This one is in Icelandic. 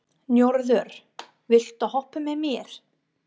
Njörður, viltu hoppa með mér?